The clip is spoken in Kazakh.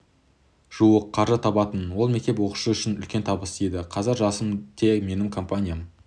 жуық қаржы табатынмын ол мектеп оқушысы үшін үлкен табыс еді қазір жасым те менің компаниям